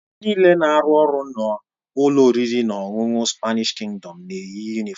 Ndị nịle na-arụ ọrụ na ụlọ oriri na ọṅụṅụ Spanịsh Kingdọm na-eyi yunịfọmu.